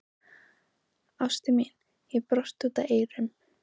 Ástin mín, ég brosi út að eyrum.